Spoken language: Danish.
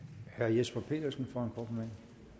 man